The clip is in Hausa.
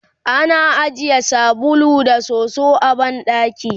ana ajiye sabulu da soso a banɗaki